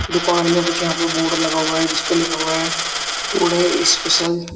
दुकान में कुछ यहां पर बोर्ड लगा हुआ है जिस पे लिखा हुआ है टुडे स्पेशल